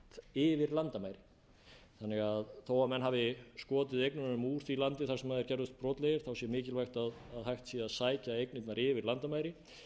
starfsemi yfir landamærin þó að menn hafi skotið eignunum úr því landi þar sem þeir gerðust brotlegir sé mikilvægt að hægt sé að sækja eignirnar yfir landamæri